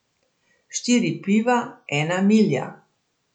Štiri piva, ena milja.